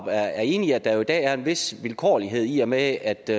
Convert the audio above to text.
er enig i at der jo i dag er en vis vilkårlighed i og med at det